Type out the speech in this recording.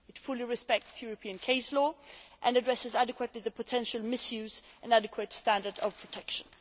It fully respects European case law and addresses adequately the issues of potential misuse and adequate standards of protection.